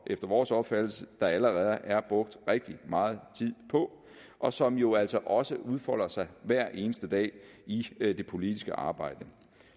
efter vores opfattelse allerede er brugt rigtig meget tid på og som jo altså også udfolder sig hver eneste dag i det politiske arbejde